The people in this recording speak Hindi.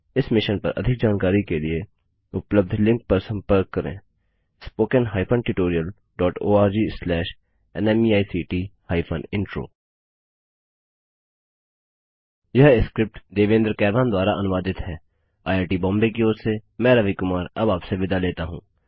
इस मिशन पर अधिक जानकारी के लिए उपलब्ध लिंक पर संपर्क करें spoken hyphen tutorial dot org slash NMEICT hyphen intro यह स्क्रिप्ट देवेन्द्र कैरवान द्वारा अनुवादित हैआईआईटी बॉम्बे की ओर से मैं रवि कुमार अब आपसे विदा लेता हूँ